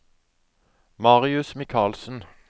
Marius Michaelsen